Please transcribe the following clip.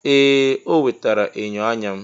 Ee! O wetara enyo anya m.